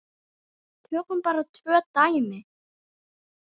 Tökum bara tvö dæmi.